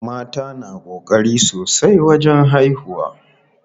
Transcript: Mata na ƙokari sosai wajen haihuwa.